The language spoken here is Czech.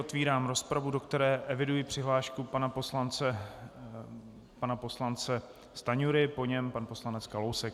Otevírám rozpravu, do které eviduji přihlášku pana poslance Stanjury, po něm pan poslanec Kalousek.